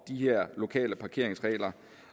de her lokale parkeringsregler